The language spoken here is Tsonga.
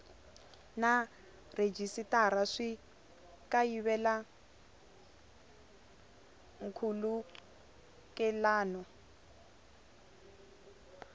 na rhejisitara swi kayivela nkhulukelano